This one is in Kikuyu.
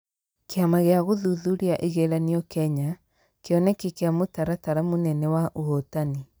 Kĩama gĩa gũthuthuria igeranio Kenya, Kĩoneki kĩa mũtaratara mũnene wa ũhotani